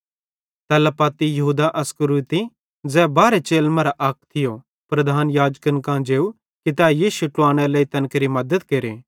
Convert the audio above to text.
तैल्ला पत्ती यहूदा इस्करियोती ज़ै बारहे चेलन मरां अक थियो प्रधान याजकन कां जेव कि तै यीशु ट्लुवानेरे लेइ तैन केरि मद्दत केरे